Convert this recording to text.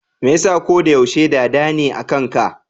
Me yasa koda yaushe Dada ne akan ka?